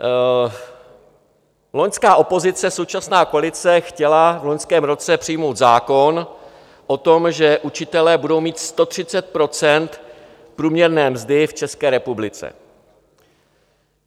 Loňská opozice, současná koalice chtěla v loňském roce přijmout zákon o tom, že učitelé budou mít 130 % průměrné mzdy v České republice.